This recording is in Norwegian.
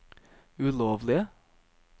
ulovlige